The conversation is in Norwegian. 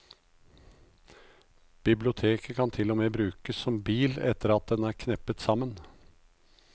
Bilboken kan til og med brukes som bil etter at den er kneppet sammen.